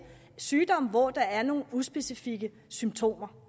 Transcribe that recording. sygdomme hvor der er nogle uspecifikke symptomer